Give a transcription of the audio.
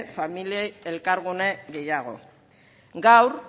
familiei elkargune gehiago gaur